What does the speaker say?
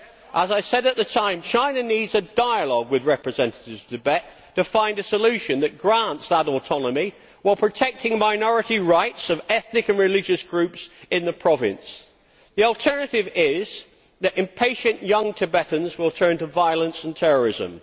As I said at the time, China needs a dialogue with representatives of Tibet to find a solution that grants that autonomy, while protecting minority rights of ethnic and religious groups in the province. The alternative is that impatient, young Tibetans will turn to violence and terrorism.